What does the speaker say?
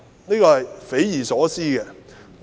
這是匪夷所思的。